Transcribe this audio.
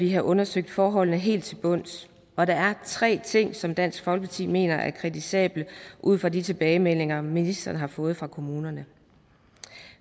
have undersøgt forholdene helt til bunds og der er tre ting som dansk folkeparti mener er kritisable ud fra de tilbagemeldinger ministeren har fået fra kommunerne